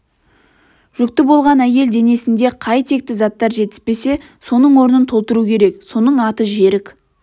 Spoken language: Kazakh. жүкті болған әйел денесінде қай текті заттар жетіспесе соның орнын толтыру керек соның аты жерік